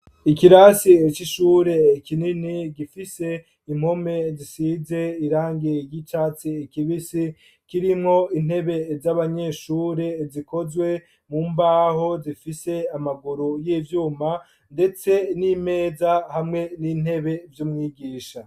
Ikirasi cy'ishure ikinini gifise impome zisize irange y'icaci ikibisi kirinwo intebe z'abanyeshure zikozwe mu mbaho zifise amaguru y'ibyuma ndetse n'imeza hamwe n'intebe by'umwigisha.